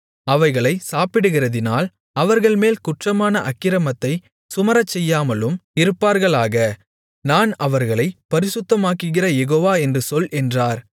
அவைகளைச் சாப்பிடுகிறதினால் அவர்கள்மேல் குற்றமான அக்கிரமத்தைச் சுமரச்செய்யாமலும் இருப்பார்களாக நான் அவர்களைப் பரிசுத்தமாக்குகிற யெகோவா என்று சொல் என்றார்